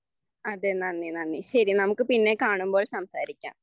അതെ നന്ദി നന്ദി ശരി നമുക്ക് പിന്നെക്കാണുമ്പോൾ സംസാരിക്കാം